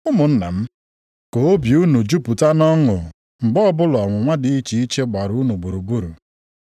Ụmụnna m, ka obi unu jupụta nʼọṅụ mgbe ọbụla ọnwụnwa dị iche iche gbara unu gburugburu.